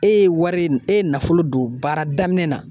E ye wari e ye nafolo don baara daminɛ na